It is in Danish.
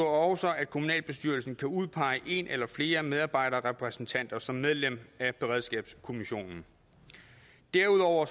også at kommunalbestyrelsen kan udpege en eller flere medarbejderrepræsentanter som medlem af beredskabskommissionen derudover